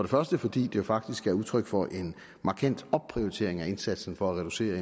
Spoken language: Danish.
første fordi det faktisk er udtryk for en markant opprioritering af indsatsen for at reducere